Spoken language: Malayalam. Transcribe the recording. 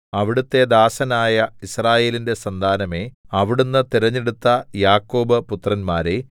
അവിടുത്തെ ദാസനായ യിസ്രായേലിന്റെ സന്താനമേ അവിടുന്ന് തെരഞ്ഞെടുത്ത യാക്കോബ് പുത്രന്മാരേ